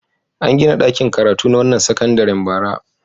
An gina ɗakin karatu na wannan sakandaren bara.